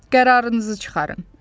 Qərarınızı çıxarın.